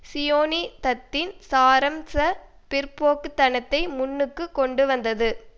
சியோனிசத்தின் சாரம்ச பிற்போக்குத்தனத்தை முன்னுக்கு கொண்டு வந்தது